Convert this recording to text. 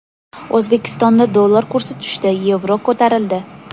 O‘zbekistonda dollar kursi tushdi, yevro ko‘tarildi.